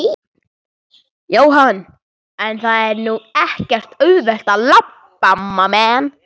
Jóhann: En það er nú ekkert auðvelt að labba?